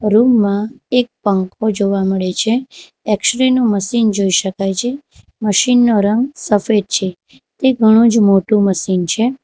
Room માં એક પંખો જોવા મળે છે એક્સ રે નું મશીન જોઈ શકાય છે મશીન નો રંગ સફેદ છે તે ઘણો જ મોટું મશીન છે.